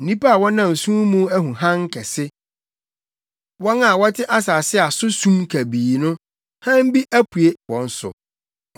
Nnipa a wɔnam sum mu ahu Hann kɛse; wɔn a wɔte asase a so sum kabii no, hann bi apue wɔn so.